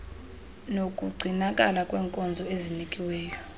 nokugcinakala kwenkonzo ezinikiweyo